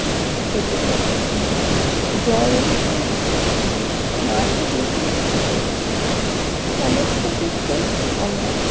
ক্ষতি করছি জল দূষণ করছি মাটি দূষণ করছি সমস্ত ক্ষেত্রেই আমরা